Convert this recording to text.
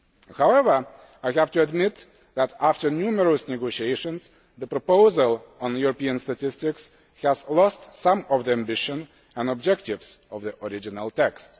However, I have to admit that, after numerous negotiations, the proposal on European statistics has lost some of the ambition and objectives of the original text.